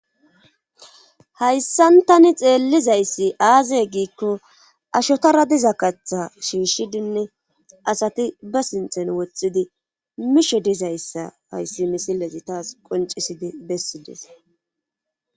Hayssan tani xeellizayssi aaze giikko ashotara diza kaththa shiishshidinne asati ba sinxen wothxidi mishe dizayssa hayssi misilati taas qoncisidi bessidees.